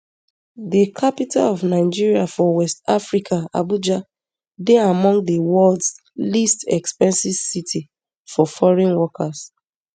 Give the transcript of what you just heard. di capital of nigeria for west africa abuja dey among di worlds least expensive city for foreign workers